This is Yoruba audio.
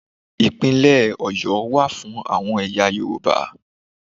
Ìpínlẹ̀ Ọ̀yọ́ wà fún àwọn ẹ̀yà Yorùbá.